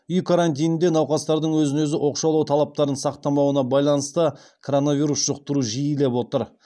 үй карантинінде науқастардың өзін өзі оқшаулау талаптарын сақтамауына байланысты коронавирус жұқтыру жиілеп отыр